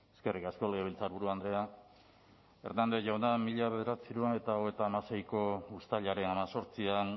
eskerrik asko legebiltzarburu andrea hernández jauna mila bederatziehun eta hogeita hamaseiko uztailaren hemezortzian